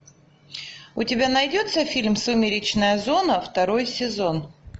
у тебя найдется фильм сумеречная зона второй сезон